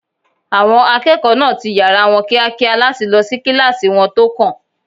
Àwọn akẹ́kọ̀ọ́ náà ti yàrá wọn kíákíá láti lọ sí kíláàsì wọn tó kàn